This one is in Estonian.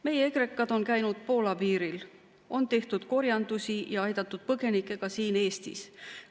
Meie ekrekad on käinud Poola piiril, on tehtud korjandusi ja aidatud põgenikke ka siin Eestis.